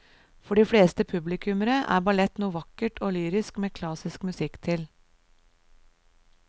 For de fleste publikummere er ballett noe vakkert og lyrisk med klassisk musikk til.